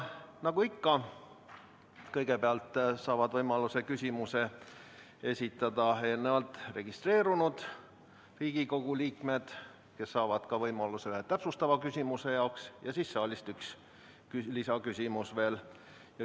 Nagu ikka, kõigepealt saavad võimaluse küsimuse esitada eelnevalt registreerunud Riigikogu liikmed, kes saavad ka võimaluse üheks täpsustavaks küsimuseks, ja siis võib saalist esitada ühe lisaküsimuse.